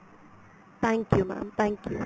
thank you mam thank you